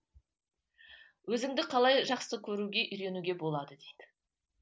өзіңді қалай жақсы көруге үйренуге болады дейді